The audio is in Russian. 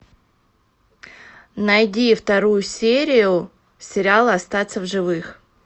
найди вторую серию сериала остаться в живых